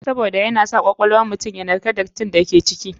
Sabida yana sa kwakwal wan mutum yanarka datin ciki.